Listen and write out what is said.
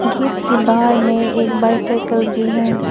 Gate के बाहर में एक बाइसिकल भी है।